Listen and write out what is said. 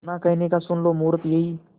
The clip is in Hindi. ना कहने का सुन लो मुहूर्त यही